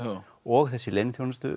og þessi